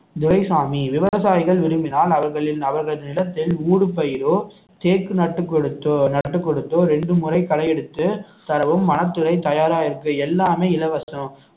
துரைசாமி விவசாயிகள் விரும்பினால் அவர்களின் அவர்களின் நிலத்தில் ஊடுபயிரோ தேக்கு நட்டு கொடுத்தோ நட்டு கொடுத்தோ இரண்டு முறை களை எடுத்து தரவும் வனத்துறை தயாராக இருக்கு எல்லாமே இலவசம்